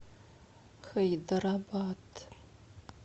хайдарабад